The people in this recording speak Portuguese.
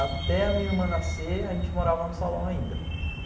Até a minha irmã nascer, a gente morava no salão ainda.